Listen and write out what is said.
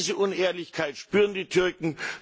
Diese Unehrlichkeit spüren die Türken.